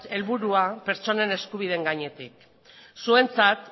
helburua pertsonen eskubideen gainetik zuentzat